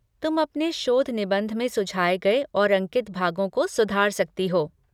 तुम अपने शोध निबंध में सुझाए गए और अंकित भागों को सुधार सकती हो।